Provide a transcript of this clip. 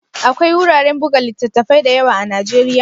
Akwai wuraren buga littattafai da yawa a Najeriya?